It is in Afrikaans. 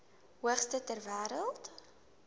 hoogste ter wêreld